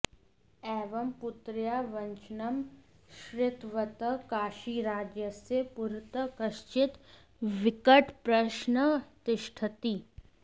एवं पुत्र्याः वचनं श्रृतवतः काशीराजस्य पुरतः कश्चित् विकटप्रश्नः तिष्ठति